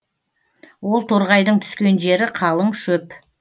ол торғайдың түскен жері калың шөп